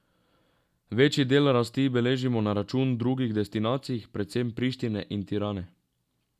Večji del rasti beležimo na račun drugih destinacij, predvsem Prištine in Tirane.